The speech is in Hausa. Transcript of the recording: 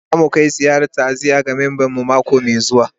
Za mu kai ziyarar ta'aziyya ga memban mu mako mai zuwa